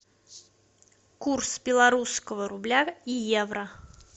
курс белорусского рубля и евро